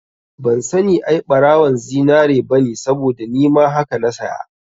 Ban sani ai ɓarawon zinari bane saboda nima haka na saya